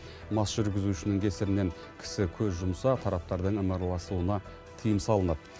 мас жүргізушінің кесірінен кісі көз жұмса тараптардың ымыраласуына тыйым салынады